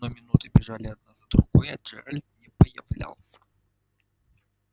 но минуты бежали одна за другой а джералд не появлялся